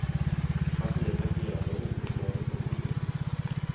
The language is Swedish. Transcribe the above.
Partiets agerande är oförsvarligt och oetiskt.